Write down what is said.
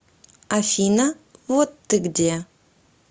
афина вот ты где